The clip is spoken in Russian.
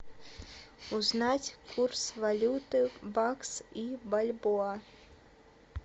узнать курс валюты бакс и бальбоа